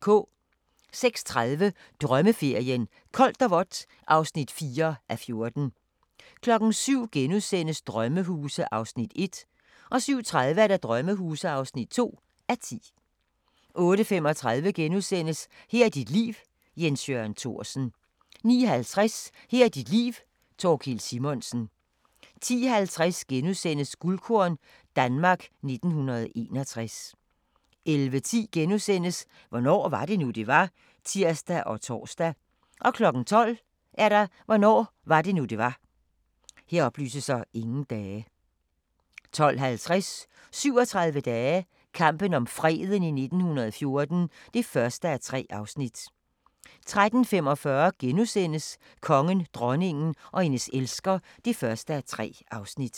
06:30: Drømmeferien: Koldt og vådt (4:14) 07:00: Sommerhuse (1:10)* 07:30: Sommerhuse (2:10) 08:35: Her er dit liv – Jens Jørgen Thorsen * 09:50: Her er dit liv - Thorkild Simonsen 10:50: Guldkorn - Danmark 1961 * 11:10: Hvornår var det nu, det var? *(tir og tor) 12:00: Hvornår var det nu, det var? 12:50: 37 dage - kampen om freden i 1914 (1:3) 13:45: Kongen, dronningen og hendes elsker (1:3)*